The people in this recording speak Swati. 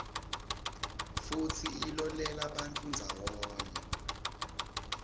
futsi ilolelabantfu ndzawonye